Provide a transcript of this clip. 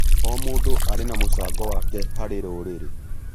O mũndũ arĩ na mũcango wake harĩ rũrĩrĩ.